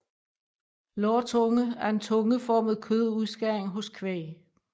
Lårtunge er en tungeformet kødudskæring hos kvæg